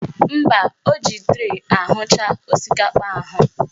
Mba, o ji tray ahụcha osikapa ahụ